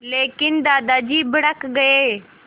लेकिन दादाजी भड़क गए